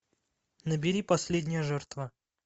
набери последняя жертва